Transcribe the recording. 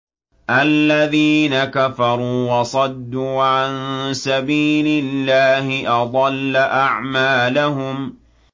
الَّذِينَ كَفَرُوا وَصَدُّوا عَن سَبِيلِ اللَّهِ أَضَلَّ أَعْمَالَهُمْ